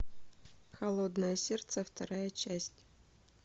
холодное сердце вторая часть